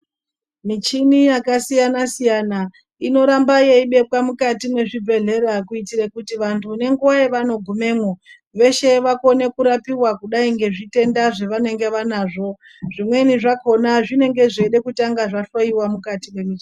Michini yakasiyanasiyana inoramba yeibekwa mukati mezvibhedhlera kuitira kuti vantu nenguva yavanogumemo veshe vakone kurapiwa kudai ngezvitenda zvavanenge vanazvo zvimweni zvakona zvinenge zveida kutanga zvahloyiwa mukati memichini .